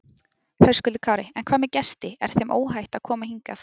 Höskuldur Kári: En hvað með gesti, er þeim óhætt að koma hingað?